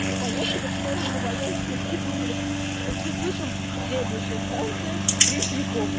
поехали в сторону новоясеневской думали такие слышим следующая станция третьяковская